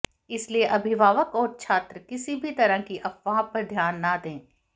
इसलिए अभिभावक और छात्र किसी भी तरह की अफवाह पर ध्यान न दें